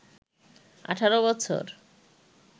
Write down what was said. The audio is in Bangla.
১৮ বছর